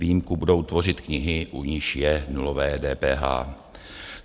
Výjimku budou tvořit knihy, u nichž je nulové DPH.